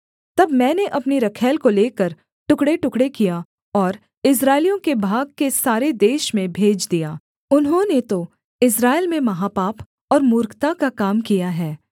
तब मैंने अपनी रखैल को लेकर टुकड़ेटुकड़े किया और इस्राएलियों के भाग के सारे देश में भेज दिया उन्होंने तो इस्राएल में महापाप और मूर्खता का काम किया है